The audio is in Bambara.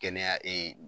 Kɛnɛya ee